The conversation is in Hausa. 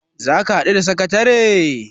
za ka haɗu da sakatare?